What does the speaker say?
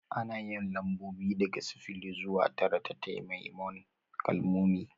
Ana yin lambobi daga sifili zuwa tara ta takamaiman kalmomi